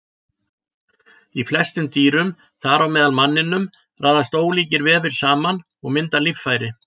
Í flestum dýrum, þar á meðal manninum, raðast ólíkir vefir saman og mynda líffæri.